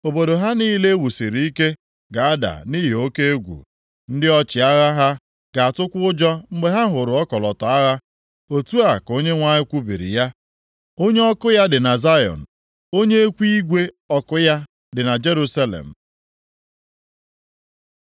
Obodo ha niile e wusiri ike ga-ada nʼihi oke egwu, ndị ọchịagha ha ga-atụkwa ụjọ mgbe ha hụrụ ọkọlọtọ agha.” Otu a ka Onyenwe anyị kwubiri ya. Onye ọkụ ya dị na Zayọn, onye ekwu igwe ọkụ ya dị na Jerusalem.